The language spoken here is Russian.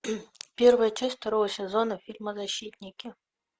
первая часть второго сезона фильма защитники